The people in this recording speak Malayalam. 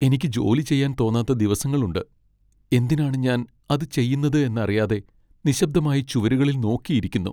എനിക്ക് ജോലി ചെയ്യാൻ തോന്നാത്ത ദിവസങ്ങളുണ്ട്, എന്തിനാണ് ഞാൻ അത് ചെയ്യുന്നത് എന്നറിയാതെ നിശബ്ദമായി ചുവരുകളിൽ നോക്കി ഇരിക്കുന്നു.